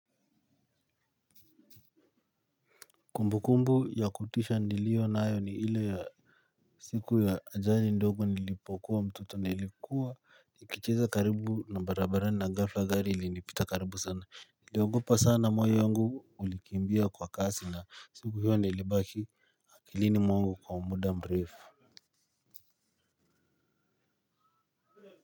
Kumbukumbu ya kutisha nilio nayo ni ile ya siku ya ajali ndogo nilipokuwa mtoto nilikuwa nikicheza karibu na barabarani na gafla gari ili nipita karibu sana. Niliogopa sana moyo yungu ulikiimbia kwa kasi na siku hiyo nilibaki akilini mwangu kwa muda mrefu.